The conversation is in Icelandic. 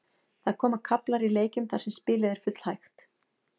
Það koma kaflar í leikjum þar sem spilið er full hægt.